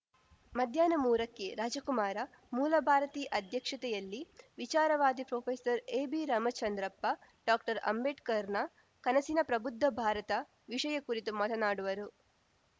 ಮಧ್ಯಾಹ್ನ ಮೂರಕ್ಕೆ ರಾಜಕುಮಾರ ಮೂಲಭಾರತಿ ಅಧ್ಯಕ್ಷತೆಯಲ್ಲಿ ವಿಚಾರವಾದಿ ಪ್ರೊಫೆಸರ್ಎಬಿರಾಮಚಂದ್ರಪ್ಪ ಡಾಕ್ಟರ್ಅಂಬೇಡ್ಕರ್‌ನ ಕನಸಿನ ಪ್ರಬುದ್ಧ ಭಾರತ ವಿಷಯ ಕುರಿತು ಮಾತನಾಡುವರು